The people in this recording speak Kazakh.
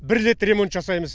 бір рет ремонт жасаймыз